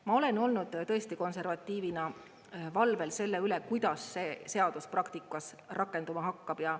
Ma olen olnud tõesti konservatiivina valvel selle üle, kuidas see seadus praktikas rakenduma hakkab.